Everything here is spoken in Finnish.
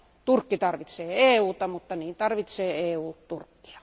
Turkki tarvitsee EUta, mutta niin tarvitsee EU Turkkia.